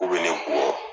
K'u bɛ ne bugɔ